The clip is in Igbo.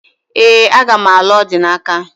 Ee, aga m alụ Odinaka